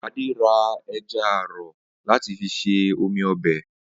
Adé ra e̩ja àrò̩ láti fi se omi o̩bè̩